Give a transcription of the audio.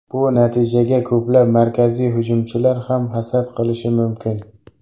Bu natijaga ko‘plab markaziy hujumchilar ham hasad qilishi mumkin.